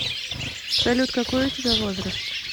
салют какой у тебя возраст